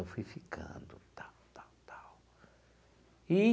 Eu fui ficando, tal, tal, tal e.